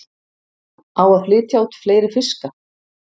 Á að flytja út fleiri fiska